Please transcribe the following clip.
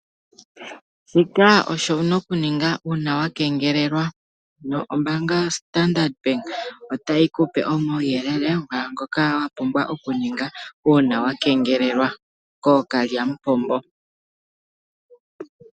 Shika osho wu na okuninga uuna wa kengelelwa. Ombaanga yoStandard Bank otayi ku pe omauyelele mwaashoka wu na oku ninga uuna wa kengelelwa kookalyamupombo.